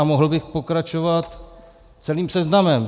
A mohl bych pokračovat celým seznamem.